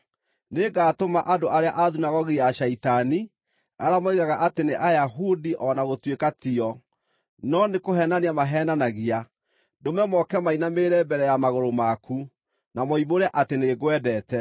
Nĩngatũma andũ arĩa a thunagogi ya Shaitani, arĩa moigaga atĩ nĩ Ayahudi o na gũtuĩka tio, no nĩkũheenania maheenanagia, ndũme moke mainamĩrĩre mbere ya magũrũ maku, na moimbũre atĩ nĩngwendete.